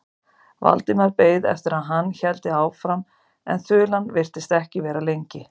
Valdimar beið eftir að hann héldi áfram en þulan virtist ekki vera lengri.